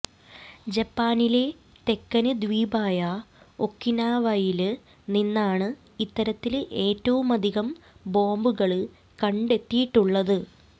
ജപ്പാനിലെ തെക്കന് ദ്വീപായ ഒക്കിനാവയില് നിന്നാണ് ഇത്തരത്തില് ഏറ്റവുമധികം ബോംബുകള് കണ്ടെത്തിയിട്ടുള്ളത്